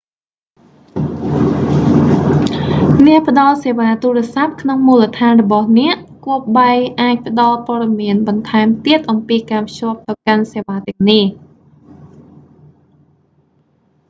អ្នកផ្ដល់សេវាទូរសព្ទក្នុងមូលដ្ឋានរបស់អ្នក គប្បីអាចផ្ដល់ព័ត៌មានបន្ថែមទៀតអំពីការភ្ជាប់ទៅកាន់សេវាទាំងនេះ